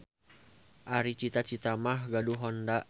Ari cita-cita mah gaduh HONDA.